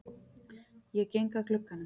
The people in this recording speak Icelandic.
Ég geng að glugganum.